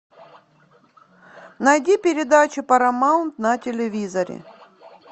найди передачу парамаунт на телевизоре